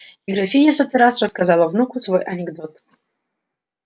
и графиня в сотый раз рассказала внуку свой анекдот